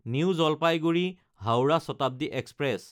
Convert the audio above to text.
new জলপাইগুৰি–হাওৰা Shatabdi express